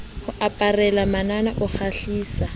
o aparela manana o kgahlisa